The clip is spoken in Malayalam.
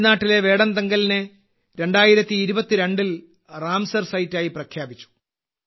തമിഴ്നാട്ടിലെ വേഡന്തങ്കലിനെ 2022ൽ റാംസർ സൈറ്റായി പ്രഖ്യാപിച്ചു